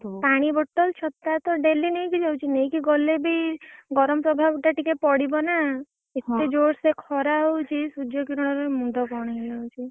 ପାଣି bottle ଛତାତ daily ନେଇକି ଯାଉଛି। ନେଇକି ଗଲେ ବି ଗରମ୍ ପ୍ରଭାବ ଟା ଟିକେ ପଡିବ ନା। ଏତେ ଯୋର୍ ସେ ଖରା ହଉଛି, ସୁର୍ଯକିରଣରେ ମୁଣ୍ଡ କଣ ହେଇଯାଉଛି।